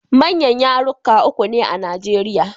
Manyan yarurruka uku ne a Nigerian.